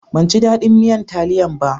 Ban ji dadin miyan taliyan ba.